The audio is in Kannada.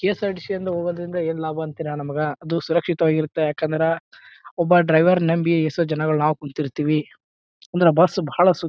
ಕೆ.ಎಸ್.ಆರ್.ಟಿ.ಸಿ. ಇಂದ ಹೋಗೋದ್ರಿಂದ ಏನ್ ಲಾಭ ಅಂತೀರಾ ಅದು ಸುರಕ್ಷಿತವಾಗಿರುತ್ತೆ ಒಬ್ಬ ಡ್ರೈವರ್ ನಂಬಿ ಎಷ್ಟೋ ಜನಗಳು ನಾವು ಕುಂತಿರ್ತೀವಿ ಅಂದ್ರ ಬಸ್ ಬಹಳ ಸು--